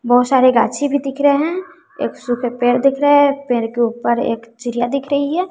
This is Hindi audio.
बहुत सारे गाछी भी दिख रहे हैं एक सूखे पेड़ दिख रहे है पेड़ के ऊपर एक चिड़िया दिख रही है।